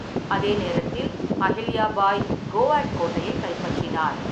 அதே நேரத்தில், அஹில்யா பாய் கோஆட் கோட்டையைக் கைப்பற்றினார்.